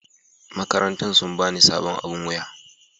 makarantan sun ba ni sabon aɓin wuya.